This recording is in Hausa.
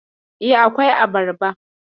E, akwai abarba.